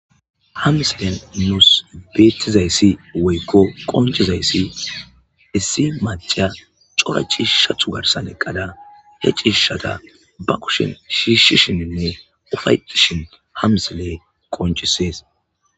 Ha misilen nuus beettizayssi woykko qoncizayssi issi maca cora cishathu garsan eqqada he ciishata ba kushin shiishshishininne ufaycishin hamsiley qoncisees.